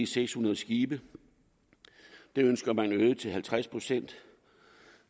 seks hundrede skibe det ønsker man øget til halvtreds procent